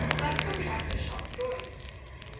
subcontractor shop drawings